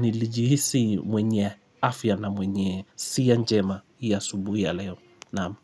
nilijihisi mwenye afya na mwenye siya njema hii asubuhi ya leo Naam.